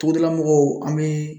Togodala mɔgɔw an bɛ